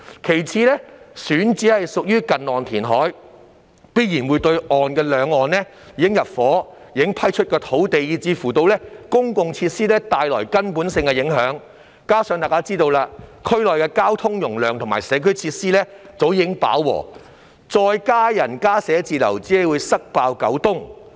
其次，選址屬於近岸填海，必然對兩岸已入伙、已批出的土地，以至公共設施帶來根本性的影響，加上——眾所周知——區內交通容量及社區設施早已飽和，再增加人流和增加寫字樓只會"塞爆九東"。